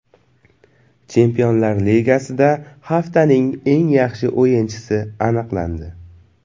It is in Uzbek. Chempionlar Ligasida haftaning eng yaxshi o‘yinchisi aniqlandi.